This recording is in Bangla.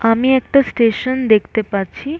আমি একটা স্টেশন দেখতে পাচ্ছি--